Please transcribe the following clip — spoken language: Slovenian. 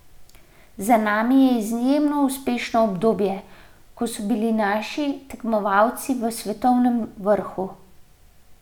Za nami je izjemno uspešno obdobje, ko so bili naši tekmovalci v svetovnem vrhu.